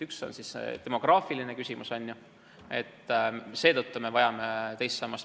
Üks on demograafiline küsimus, eks ole, seetõttu me vajame teist sammast.